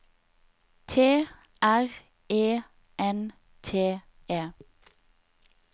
T R E N T E